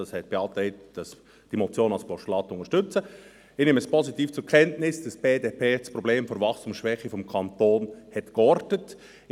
Ich nehme positiv zur Kenntnis, dass die BDP das Problem der Wachstumsschwäche des Kantons geortet hat.